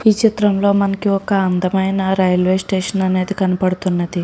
ఈ చిత్రంలో మనకి ఒక అందమైన రైల్వే స్టేషన్ అనేది కనబడుతున్నది.